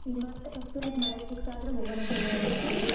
ಈಗ್ ಮತ್ತ್ ಕಸ್ತೂರಿದ್ marriage fix ಆದ್ರ್ ಹೋಗಣಂತಾ ಸೇರಿ.